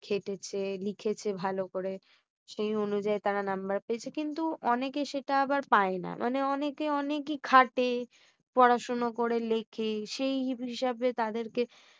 খেটেছে লিখেছে ভাল করে। সে অনুযায়ী তারা নাম্বার পেয়েছে। কিন্তু অনেকে সেটা আবার পায় না অনেকে অনেকেই খাটে পড়াশোনা করে লিখি হিসাবে তাঁদের কে